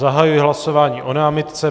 Zahajuji hlasování o námitce.